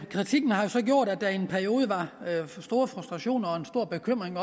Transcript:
kritikken har jo så gjort at der i en periode har været store frustrationer og stor bekymring